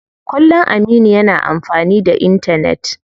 Kullum Aminu yana amfani da intanet.